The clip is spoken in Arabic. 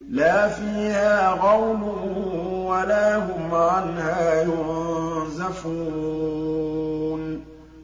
لَا فِيهَا غَوْلٌ وَلَا هُمْ عَنْهَا يُنزَفُونَ